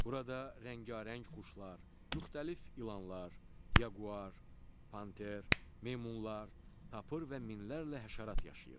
Burada rəngarəng quşlar, müxtəlif ilanlar, yaquar, panter, meymunlar, tapır və minlərlə həşərat yaşayır.